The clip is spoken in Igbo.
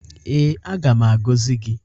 Ee, aga m agọzi gị.